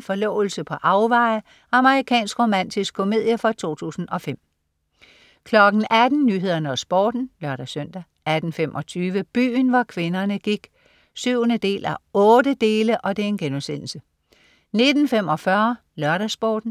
Forlovelse på afveje. Amerikansk romantisk komedie fra 2005 18.00 Nyhederne og Sporten (lør-søn) 18.25 Byen hvor kvinderne gik 7:8* 19.45 LørdagsSporten